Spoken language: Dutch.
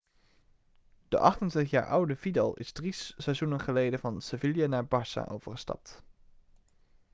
de 28-jaar oude vidal is drie seizoenen geleden van sevilla naar barça overgestapt